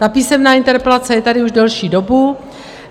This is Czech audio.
Ta písemná interpelace je tady už další dobu.